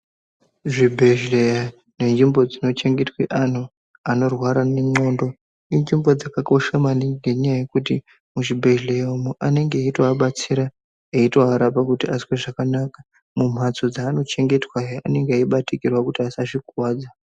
Zvibhedhleya nezvimbo dzinochengetwe antu anorwara ndxondo inzvimbo dzakakosha maningi ngenyaya yekuti muzvibhedhleya umu anenge eitoabatsira eitoarapa kuti azwe zvakanaka. Mumbatso mwaanochengetwahe anenge eibatikirwa kuti asazvikuwadza.